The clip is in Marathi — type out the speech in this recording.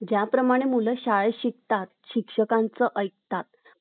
ज्या प्रमाणे मुलं शाळेत शिकतात , शिक्षकांचं ऐकतात ,